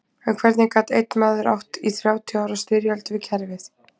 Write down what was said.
En hvernig gat einn maður átt í þrjátíu ára styrjöld við kerfið?